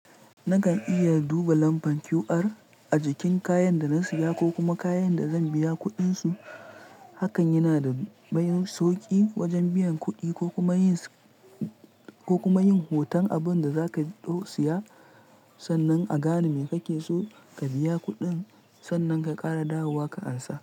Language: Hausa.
Nakan iya duba lambar QR a jikin kayan da na siya ko kuma kayan da zan biya kuɗinsu. Hakan yana da manyan sauƙi wajen biyan kuɗi ko kuma yin, ko kuma yin hoton abunda zaka dau siya, sannan a gane me kake so ka biya kuɗin, sannan ka ƙara dawowa ka ansa.